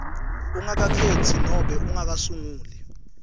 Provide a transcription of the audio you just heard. ungakakhetsi nobe ungakasunguli